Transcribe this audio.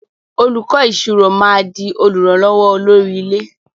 Olùkó ìṣirò má dì olùrànlówó olórí ilé.